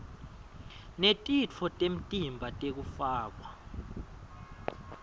netitfo temtimba tekufakwa